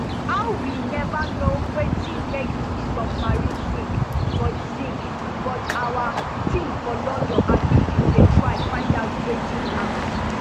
howwe neva know wetin make di submarine sink but sink but our teams for london and egypt dey try find out wetin happun